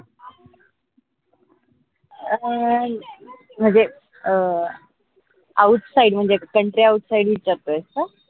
अं म्हनजे अं outside म्हनजे countryoutside विचारतोय का?